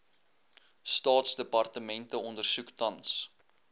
staatsdepartemente ondersoek tans